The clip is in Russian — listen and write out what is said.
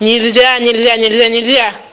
нельзя нельзя нельзя нельзя